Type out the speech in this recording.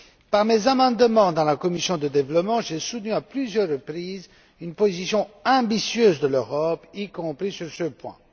Par mes amendements en commission du développement, j'ai soutenu à plusieurs reprises une position ambitieuse de l'Europe, y compris sur ce point.